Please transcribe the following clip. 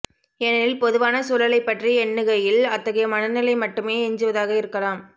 ஏனெனில் பொதுவான சூழலைப் பற்றி எண்ணுகையில் அத்தகைய மனநிலை மட்டுமே எஞ்சுவதாக இருக்கலாம்